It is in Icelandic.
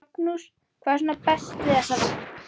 Magnús: Hvað er svona best við þessa vagna?